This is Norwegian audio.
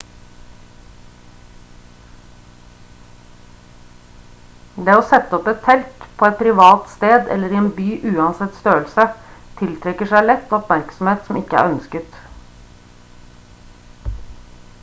det å sette opp et telt på et privat sted eller i en by uansett størrelse tiltrekker seg lett oppmerksomhet som ikke er ønsket